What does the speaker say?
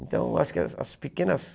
Então acho que as as pequenas...